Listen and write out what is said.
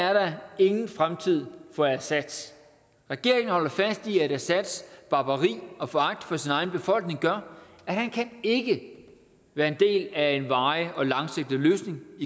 er der ingen fremtid for assad regeringen holder fast i at assads barbari og foragt for sin egen befolkning gør at han ikke kan være en del af en varig og langsigtet løsning